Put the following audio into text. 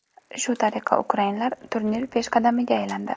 Shu tariqa ukrainlar turnir peshqadamiga aylandi.